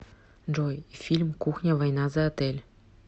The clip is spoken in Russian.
джой фильм кухня война за отель